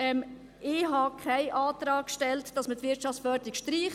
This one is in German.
Ich habe keinen Antrag gestellt, die Wirtschaftsförderung zu streichen.